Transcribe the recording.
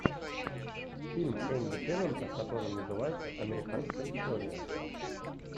фильм энди теннанта который называется американская история